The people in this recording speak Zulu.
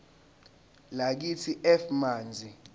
lakithi f manzi